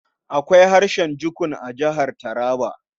Akwai harshen Jukun a Jihar Taraba.